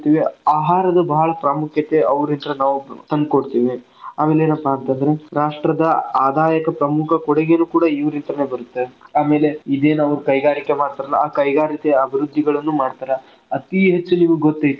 ಆಹಾರದ ಬಾಳ್ ಪ್ರಾಮುಖ್ಯತೆ ಅವ್ರಿನ್ತ್ರ ನಾವ್ ತಂದಕೋತಿವಿ, ಅವ್ರ ಏನಪ್ಪಾ ಅಂತಂದ್ರ ರಾಷ್ಟ್ರದ ಆದಾಯಕ್ಕ್ ಪ್ರಮುಖ ಕೊಡುಗೇನು ಕೂಡಾ ಇವರಿಂದಾನೆ ಬರುತ್ತೆ ಆಮೇಲೆ ಇನ್ನೇನ ಅವ್ರ ಕೈಗಾರಿಕೆ ಮಾಡ್ತಾರ್ಲಾ ಆ ಕೈಗಾರಿಕೆ ಅಭಿವೃದ್ದಿಗಳನ್ನು ಮಾಡ್ತಾರ ಅತೀ ಹೆಚ್ಚು ನಿಮಗ ಗೊತ್ ಐತಿ.